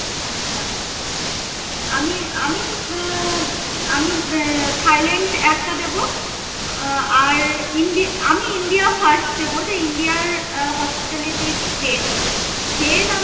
আচ্ছা আমি আমি আহ থাইল্যন্ড একটা দেব আহ আর ইন্ডি~ আমি ইন্ডিয়া first দেব যে ইন্ডিয়ার hospitality best then আম~